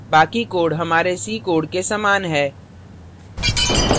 बाकी code हमारे c code के समान है